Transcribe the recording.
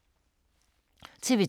TV 2